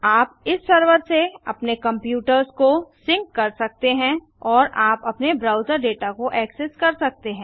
आप इस सर्वर से अपने कंप्यूटर्स को सिंक कर सकते हैं और आप अपने ब्राउजर डेटा को ऐक्सेस कर सकते हैं